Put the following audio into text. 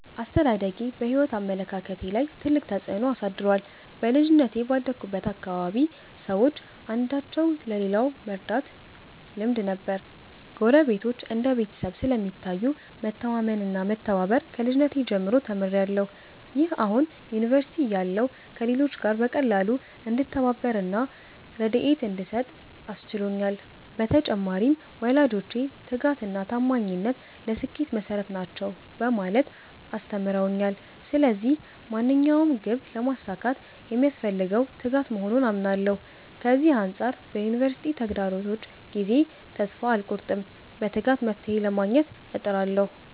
አስተዳደጌ በሕይወት አመለካከቴ ላይ ትልቅ ተጽዕኖ አሳድሯል። በልጅነቴ ባደግሁበት አካባቢ ሰዎች አንዳቸው ለሌላው መርዳት ልማድ ነበር። ጎረቤቶች እንደ ቤተሰብ ስለሚታዩ፣ መተማመን እና መተባበር ከልጅነቴ ጀምሮ ተምሬያለሁ። ይህ አሁን ዩኒቨርሲቲ እያለሁ ከሌሎች ጋር በቀላሉ እንድተባበር እና ርድኤት እንድሰጥ አስችሎኛል። በተጨማሪም፣ ወላጆቼ 'ትጋት እና ታማኝነት ለስኬት መሠረት ናቸው' በማለት አስተምረውኛል። ስለዚህ ማንኛውንም ግብ ለማሳካት የሚያስፈልገው ትጋት መሆኑን አምናለሁ። ከዚህ አንጻር በዩኒቨርሲቲ ተግዳሮቶች ጊዜ ተስፋ አልቆርጥም፤ በትጋት መፍትሔ ለማግኘት እጥራለሁ።